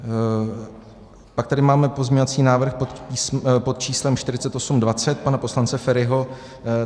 Pak tady máme pozměňovací návrh pod číslem 4820 pana poslance Feriho.